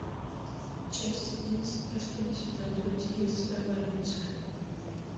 часть одиннадцать последний сезон люди икс эволюция